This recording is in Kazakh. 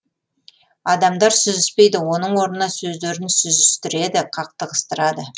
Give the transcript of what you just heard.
адамдар сүзіспейді оның орнына сөздерін сүзістіреді қақтығыстырады